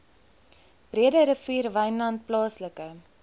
breederivier wynland plaaslike